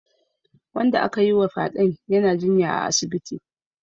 Wanda aka yiwa fyaden yana jinya a asibiti